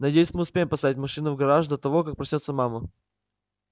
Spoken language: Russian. надеюсь мы успеем поставить машину в гараж до того как проснётся мама